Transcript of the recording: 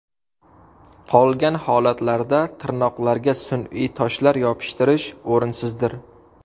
Qolgan holatlarda tirnoqlarga sun’iy toshlar yopishtirish o‘rinsizdir.